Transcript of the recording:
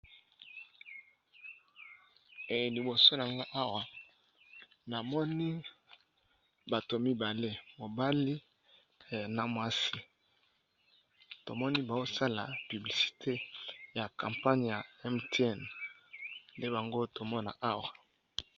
Ee liboso nanga awa namoni bato mibale mobali na mwasi tomoni bao sala piblisite ya kampagne ya mtn nde bango tomona awa.